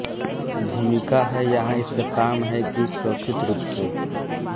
भूमिका है यहाँ इसका काम है कि सुरक्षित रूप से